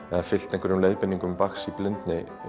fylgt einhverjum leiðbeiningum Bachs í blindi